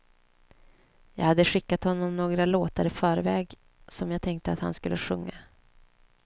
Jag hade skickat honom några låtar i förväg som jag tänkte att han skulle sjunga.